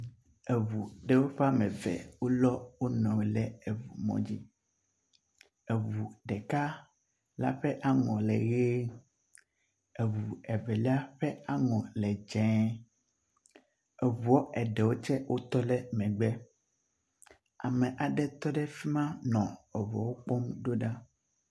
Eŋu ɖe ƒe woame eve wolɔ wo nɔewo le eŋumɔdzi. Eŋu ɖeka la ƒe aŋɔ le ʋe, Eŋu evelia ƒe aŋɔ le dzɛ. Eŋua eɖewo tse wotɔ ɖe emegbe, ame aɖe tse tɔ ɖe fi ma nɔ eŋuawo kpɔm do ɖa.